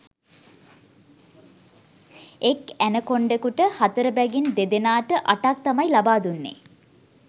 එක් ඇනකොන්ඩකුට හතර බැගින් දෙදෙනාට අටක් තමයි ලබාදුන්නේ